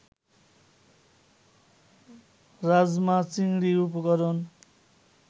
রাজমা-চিংড়ি উপকরণ